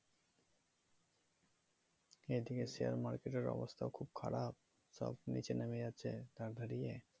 এদিকে share market এর অবস্থাও খুব খারাপ সব নিচে নেমে যাচ্ছে ধার ধারিয়ে